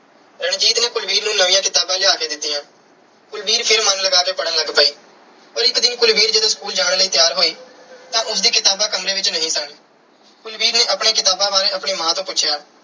ਰਣਜੀਤ ਨੇ ਕੁਲਵੀਰ ਨੂੰ ਨਵੀਆਂ ਕਿਤਾਬਾਂ ਲਿਆ ਕੇ ਦਿੱਤੀਆਂ। ਕੁਲਵੀਰ ਫਿਰ ਮਨ ਲਗਾ ਕੇ ਪੜ੍ਹਨ ਲੱਗ ਪਈ। ਪਰ ਇਕ ਦਿਨ ਜਦੋਂ ਕੁਲਵੀਰ ਸਕੂਲ ਜਾਣ ਲਈ ਤਿਆਰ ਹੋਈ ਤਾਂ ਉਸ ਦੀਆਂ ਕਿਤਾਬਾਂ ਕਮਰੇ ਵਿੱਚ ਨਹੀਂ ਸਨ। ਕੁਲਵੀਰ ਨੇ ਆਪਣੀਆਂ ਕਿਤਾਬਾਂ ਬਾਰੇ ਆਪਣੀ ਮਾਂ ਤੋਂ ਪੁੁੱਛਿਆ।